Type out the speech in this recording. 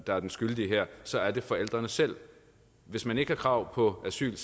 der er den skyldige her så er det forældrene selv hvis man ikke har krav på asyl